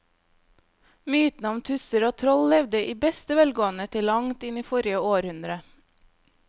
Mytene om tusser og troll levde i beste velgående til langt inn i forrige århundre.